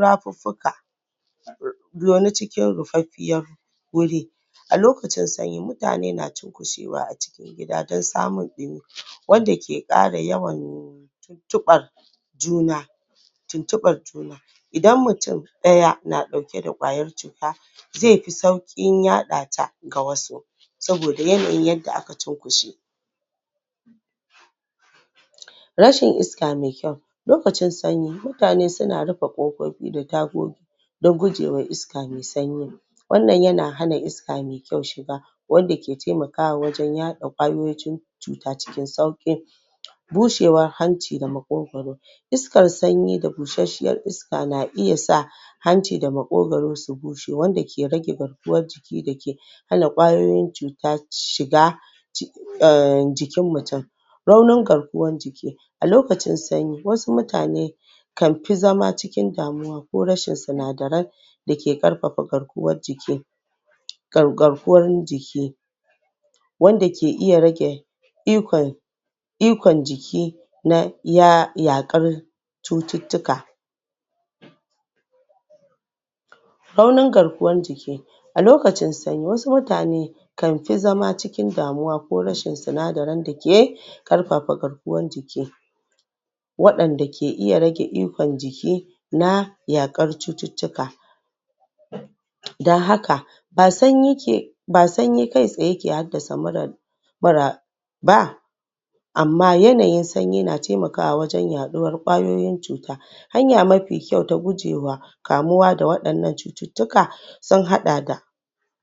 rafuffuka zaune cikin rufaffiyar guri wuri a lokacin sanyi mutane na cunkushewa a cikin Gida don samun ɗumi wanda ke kara yawan tuntubar juna tuntubar juna Idan mutum ɗaya na ɗauke da kwayar cuta zai fi saukin yaɗata ga wasu saboda yanayin yanda aka cunkushe. Rashin iska mai kyau, lokacin sanyi mutane suna rufe ƙofofi da tagogi don gujewa iska mai sanyi wannan yana hana iska mai kyau shiga wanda ke taimakawa wajen Yaɗa ƙwayoyin cututtuka cuta cikin sauƙi bushewar hanci da makogoro iskar sanyi da bushesshiyar iska na iya sa hanci da maƙogoro su bushe wanda ke rage garkuwa jiki da ke da ke hana ƙwayoyin cuta shiga um jikin mutum raunin garkuwan jiki a lokacin sanyi wasu mutane kan fi zama cikin damuwa ko rashin sinadaran dake ƙarfafa garkuwan jiki garkuwan jiki wanda ke iya rage ikon ikon ikon jiki na yaƙar cuttuttuka raunin garkuwan jiki lokacin sanyi wasu mutane kan fi zama cikin damuwa ko rashin sinadarin da ke ƙarfafa garkuwan jiki waɗanda ke iya rage Ikon jiki na yaƙar cuttutuka don haka ba sanyi ke Ba sanyi kai tsaye ke haddasa mura ba mura ba Amma yanayin sanyi na taimakawa wajen yaɗuwar ƙwayoyin cuta, hanya mafi kyau ta gujewa kamuwa da wadannan cututtuka sunhada da